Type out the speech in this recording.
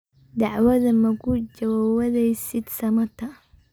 Dacwadha magujawaweysid samata.